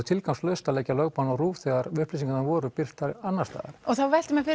tilgangslaust að leggja lögbann á RÚV þegar upplýsingarnar voru birtar annars staðar og þá veltir maður